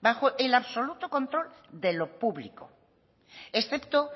bajo el absoluto control de lo público excepto